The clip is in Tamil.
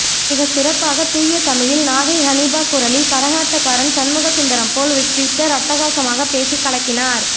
மிகச்சிறப்பாக தூய தமிழில் நாகை ஹனீபா குரலில் கரகாட்டக்காரன் சண்முக சுந்தரம் போல் ஒரு ட்வீட்டர் அட்டகாசமாப்பேசி கலக்கினார்